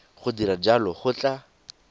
go dira jalo go tla